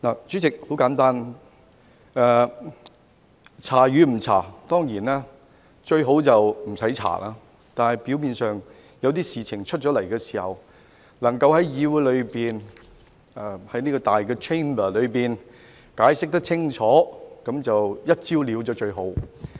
主席，很簡單，調查與否，當然最好就不用調查，但表面上有一些事情發生了，能夠在議會及這個大 Chamber 解釋清楚，能夠"一招了"的話，那便最好。